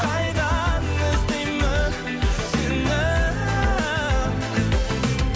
қайдан іздеймін сені